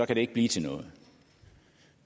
det ikke blive til noget